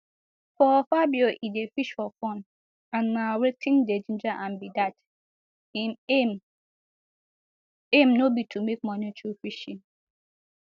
for fabio e dey fish for fun and na wetin dey ginger am be dat im aim aim no be to make money through fishing